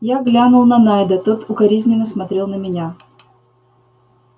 я глянул на найда тот укоризненно смотрел на меня